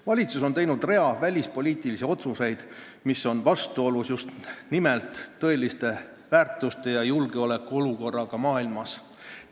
Valitsus on teinud rea välispoliitilisi otsuseid, mis on vastuolus tõeliste väärtuste ja julgeolekuolukorraga maailmas.